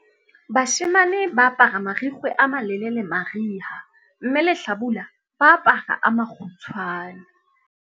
Bashemane ba apara marikgwe a malelele mariha mme lehlabula ba apara a makgutshwane.